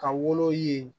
Ka wolo yen